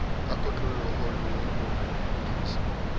ka kotloloho le ho kgutliswa